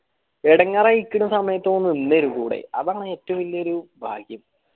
എടങ്ങാറ് ആയിരിക്കണ സമയത്തും ഓൻ നിന്നെരും കൂടെ അതാണ് ഏറ്റവും വെല്യ ഒരു ഭാഗ്യം